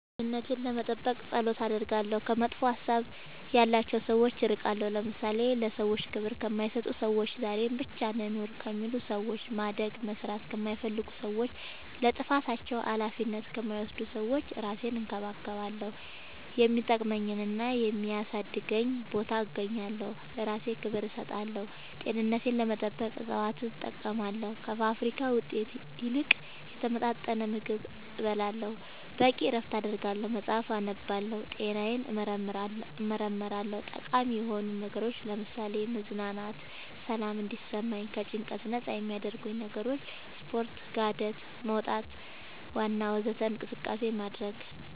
ደህንነቴን ለመጠበቅ ፀሎት አደርጋለሁ ከመጥፎ ሀሳብ ያላቸው ሰዎች እርቃለሁ ለምሳሌ ለሰዎች ክብር ከማይሰጡ ሰዎች ዛሬን ብቻ እንኑር ከሚሉ ሰዎች ማደግ መስራት ከማይፈልጉ ሰዎች ለጥፋታቸው አላፊነት ከማይወስዱ ሰዎች እራሴን እንከባከባለሁ የሚጠቅመኝና የሚያሳድገኝ ቦታ እገኛለሁ ለእራሴ ክብር እሰጣለሁ ጤንነቴን ለመጠበቅ እፅዋት እጠቀማለሁ ከፋብሪካ ውጤት ይልቅ የተመጣጠነ ምግብ እበላለሁ በቂ እረፍት አደርጋለሁ መፅአፍ አነባለሁ ጤናዬን እመረመራለሁ ጠቃሚ የሆኑ ነገሮች ለምሳሌ መዝናናት ሰላም እንዲሰማኝ ከጭንቀት ነፃ የሚያረጉኝ ነገሮች ስፓርት ጋደት መውጣት ዋና ወዘተ እንቅስቃሴ ማድረግ